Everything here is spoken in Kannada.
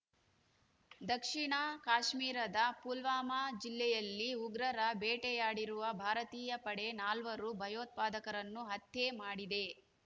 ದಕ್ಷಿಣ ಕಾಶ್ಮೀರದ ಪುಲ್ವಾಮಾ ಜಿಲ್ಲೆಯಲ್ಲಿ ಉಗ್ರರ ಬೇಟೆಯಾಡಿರುವ ಭಾರತೀಯ ಪಡೆ ನಾಲ್ವರು ಭಯೋತ್ಪಾದಕರನ್ನು ಹತ್ಯೆ ಮಾಡಿದೆ